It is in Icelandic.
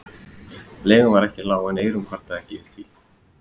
Leigan var ekki lág en Eyrún kvartaði ekki því